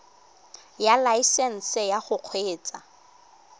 ya laesesnse ya go kgweetsa